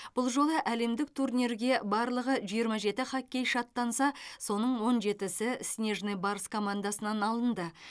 бұл жолы әлемдік турнирге барлығы жиырма жеті хоккейші аттанса соның он жетісі снежный барс командасынан алынды